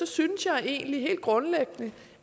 synes jeg egentlig helt grundlæggende